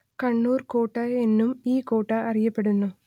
കണ്ണൂർ കോട്ട എന്നും ഈ കോട്ട അറിയപ്പെടുന്നു